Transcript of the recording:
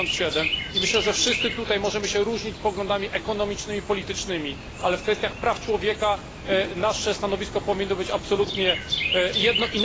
77. Myślę, że wszyscy tutaj możemy się różnić poglądami ekonomicznymi czy politycznymi, ale w kwestiach praw człowieka nasze stanowisko powinno być absolutnie jedno.